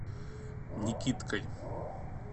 никиткой